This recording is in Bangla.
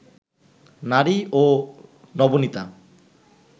নারী ও নবনীতা